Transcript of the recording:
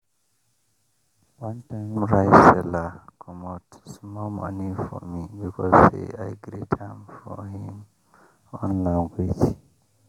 one time rice seller comot small money for me because say i greet am for him own language.